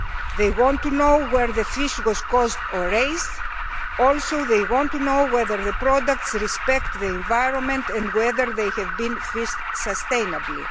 They want to know where the fish was caught or raised also they want to know whether the products respect the environment and whether they have been fished sustainably.